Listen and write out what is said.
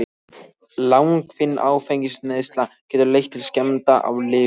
Langvinn áfengisneysla getur leitt til skemmda á lifur.